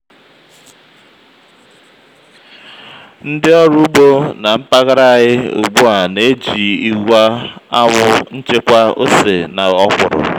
ndị ọrụ ugbo na mpaghara anyị ugbu a na-eji igwe anwụ n'chekwaa ose na ọkwụrụ.